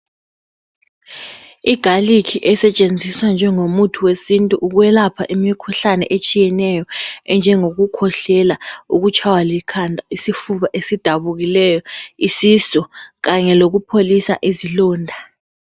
Igarlic esetshenziswa njengomuthi wesintu ukwelapha imikhuhlane etshiyeneyo. Enjengokukhwehlela, ukutshaywa likhanda, isifuba esidabukileyo, isisu. Kanye lokupholisa izilonda.